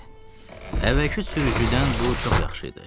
Əvvəlki sürücüdən bu çox yaxşı idi.